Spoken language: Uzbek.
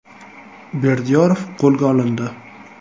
Berdiyorov qo‘lga olindi.